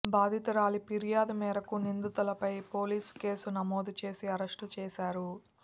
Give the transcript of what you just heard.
బాధితురాలి ఫిర్యాదు మేరకు నిందితులపై పోలీసులు కేసు నమోదు చేసి అరెస్ట్ చేశారు